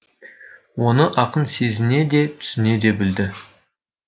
оны ақын сезіне де түсіне де білді